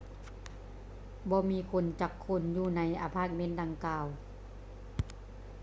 ບໍ່ມີຄົນຈັກຄົນຢູ່ໃນອາພາດເມັນດັ່ງກ່າວ